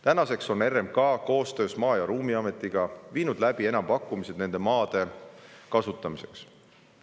Tänaseks on RMK koostöös Maa- ja Ruumiametiga viinud läbi enampakkumised nende maade kasutamiseks.